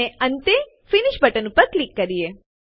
અને અંતે finish button ઉપર ક્લિક કરીએ